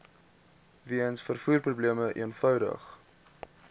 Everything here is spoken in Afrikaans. weens vervoerprobleme eenvoudig